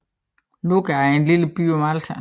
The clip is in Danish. Luqa er en lille by på Malta